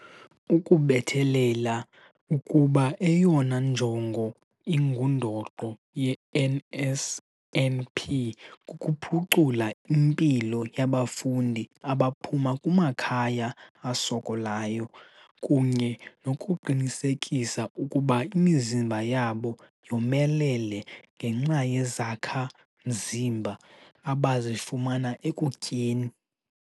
Ukubethelele ukuba eyona njongo ingundoqo ye-NSNP kukuphucula impilo yabafundi abaphuma kumakhaya asokolayo kunye nokuqinisekisa ukuba imizimba yabo yomelele ngenxa yezakha-mzimba abazifumana ekutyeni.